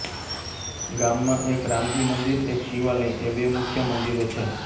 ગામમાં એક રામજી મંદિર એક શિવાલય એ બે મુખ્ય મંદિરો છે